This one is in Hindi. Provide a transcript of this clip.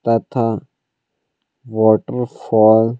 तथा वाटरफॉल --